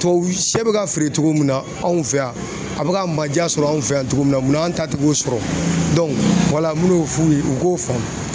Tubabusɛ bɛ ka feere cogo min na anw fɛ yan a bɛ ka manjaa sɔrɔ anw fɛ yan cogo munna an ta tɛ k'o sɔrɔ wala n mɛn'u f'u ye u k'o faamu.